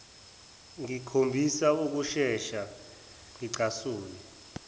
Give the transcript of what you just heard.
ngikhombisa ukusheshe ngicasuke